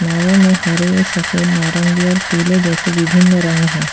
नावो में हरे सफेद नारंगी और पीले जैसे विभिन्न रंग है।